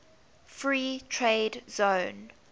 free trade zone